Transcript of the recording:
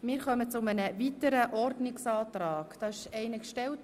Wir kommen zu einem weiteren Ordnungsantrag.